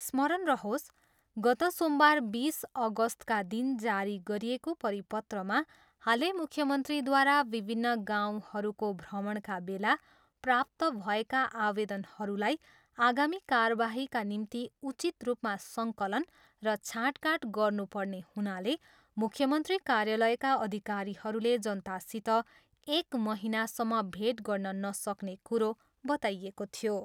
स्मरण रहोस्, गत सोमबार बिस अगस्तका दिन जारी गरिएको परिपत्रमा हालै मुख्यमन्त्रीद्वारा विभिन्न गाउँहरूको भ्रमणका बेला प्राप्त भएका आवेदनहरूलाई आगामी कारबाहीका निम्ति उचित रूपमा सङ्कलन र छाँटकाँट गर्नुपर्ने हुनाले मुख्यमन्त्री कार्यालयका अधिकारीहरूले जनतासित एक महिनासम्म भेट गर्न नसक्ने कुरो बताइएको थियो।